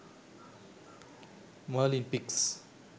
merlin pics